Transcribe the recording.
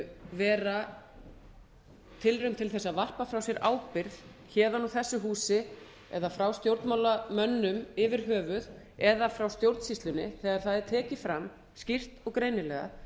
vera tilraun til þess að varpa frá sér ábyrgð héðan úr þessu húsi eða frá stjórnmálamönnum yfir höfuð eða frá stjórnsýslunni þegar það er tekið fram skýrt og greinilega